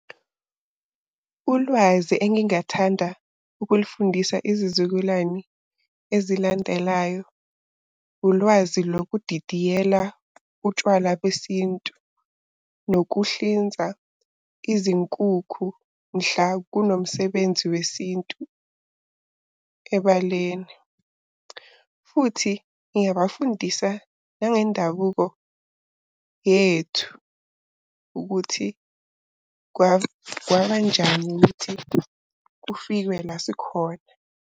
Ulwazi engingathanda ukulufundisa izizukulwane ezilandelayo, ulwazi lokudidiyela utshwala besintu, nokuhlinzwa izinkukhu mhla kunomsebenzi wesintu ebaleni. Futhi ngingabafundisa nangendabuko yethu, ukuthi kwabanjani ukuthi kufikwe la sikhona.